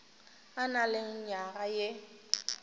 a na le nywaga ye